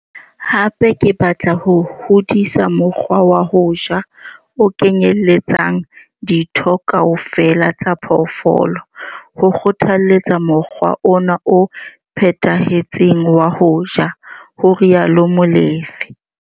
Hape ke batla ho hodisa mokgwa wa ho ja o kenyeletsang ditho kaofela tsa phoofolo, ho kgothaletsa mokgwa ona o phethahetseng wa ho ja, ho rialo Molefe.